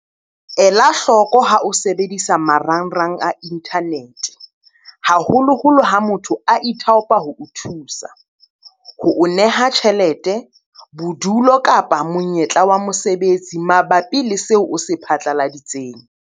Ela hloko ha o sebedisa marangrang a inthanete, haholoholo ha motho a ithaopa ho o thusa, ho o neha tjhelete, bodulo kapa monyetla wa mosebetsi mabapi le seo o se phatlaladitseng.